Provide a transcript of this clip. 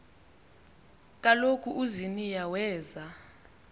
kaloku uziniya weza